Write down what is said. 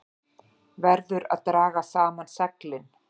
Verður að draga saman seglin